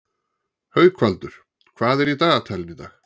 Haukvaldur, hvað er í dagatalinu í dag?